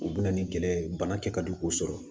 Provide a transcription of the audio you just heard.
U bɛna ni gɛlɛya ye bana kɛ ka di k'u sɔrɔ